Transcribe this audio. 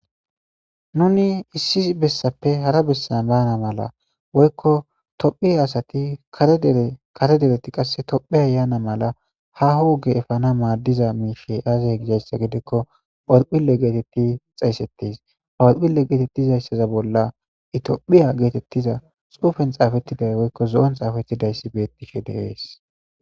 Nuni issi bessappe hara bessa banna mala woyikko tophphiya asati kare dere kare dereti asati tophphiya yana Mela haaho ogge effana maddiza mishay azze gikko horphphile getteti xeyisetes horphile getetizaysa bolla etophphya getetiza xuffen xafetida woyikko zo'oni xaffetidaysi bettishe de'es.